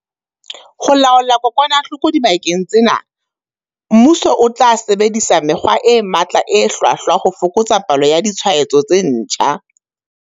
Ho laola kokwanahloko dibakeng tsena, mmuso o tla sebedisa mekgwa e matla e hlwahlwa ho fokotsa palo ya ditshwaetso tse ntjha.